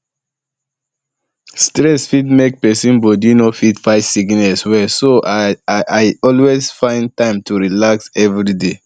stress fit make person body no fit fight sickness well so i um dey always find time to relax um everyday